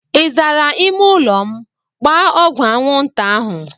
Ị zara ịme ụlọ m? Gbaa ọgwụ anwụnta ahụ!